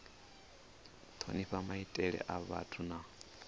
thonifha maitele a vhathu na